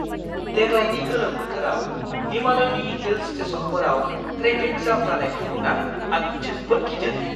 देग्लायनि गोलोम बोथोराव हिमालयनि हिल स्टेशनफोराव ट्रेफिक जाम जानायखौ नुना आं जोबोद गिदों!